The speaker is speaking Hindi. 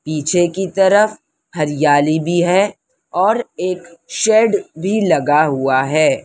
पीछे की तरफ हरियाली भी है और एक शेड भी लगा हुआ है।